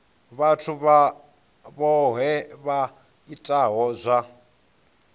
vhathu vhohe vha itaho zwa